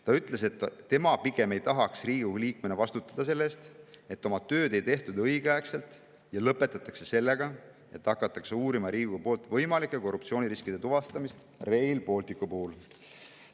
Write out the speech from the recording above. Ta ütles, et tema pigem ei tahaks Riigikogu liikmena vastutada selle eest, et oma tööd ei tehtud õigeaegselt, ja lõpetatakse sellega, et hakatakse uurima Riigikogu võimalike korruptsiooniriskide tuvastamist Rail Balticu puhul.